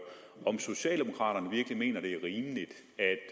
om socialdemokraterne virkelig mener det